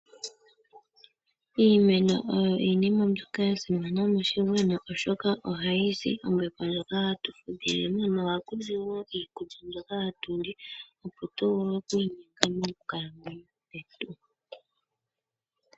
Iimeno oyo iinima mbyoka ya simana moshigwana oshoka ohayi zi ombepo ndjoka hatu fudhilemo, noha kuzi woo iikulya mbyoka hatu li, opo tu vule oku inyenga mo kukalamwenyo kwetu.